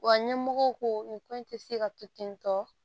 Wa ɲɛmɔgɔw ko nin ko in tɛ se ka to ten tɔ